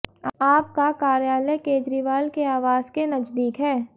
आप का कार्यालय केजरीवाल के आवास के नजदीक है